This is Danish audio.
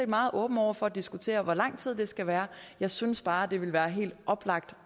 meget åben over for at diskutere hvor lang tid det skal være jeg synes bare at det vil være helt oplagt